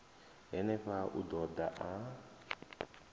henefha u ḓo ḓa a